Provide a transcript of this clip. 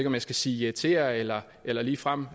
om jeg skal sige irritere eller eller ligefrem